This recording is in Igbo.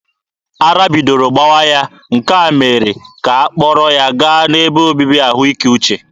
Ara bidoro gbawa ya, nke a mere ka ha kpọrọ ya gaa n'ebe obibi ahụike uche.